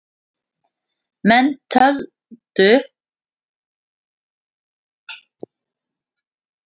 Menn tjölduðu, fylkingarnar höfðu í heitingum og kölluðu fúkyrði sín á milli.